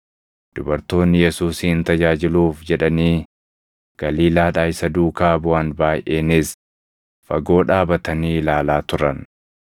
Dubartoonni Yesuusin tajaajiluuf jedhanii Galiilaadhaa isa duukaa buʼan baayʼeenis fagoo dhaabatanii ilaalaa turan.